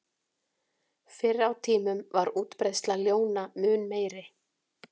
Fyrr á tímum var útbreiðsla ljóna mun meiri.